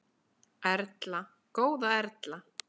Erla, góða Erla!